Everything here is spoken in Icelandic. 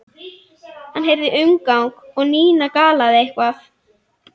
Hann heyrði umgang og Nína galaði eitthvað.